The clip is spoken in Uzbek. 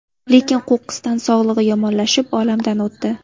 Lekin qo‘qqisdan sog‘lig‘i yomonlashib, olamdan o‘tdi.